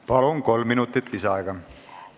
Palun, kolm minutit lisaaega!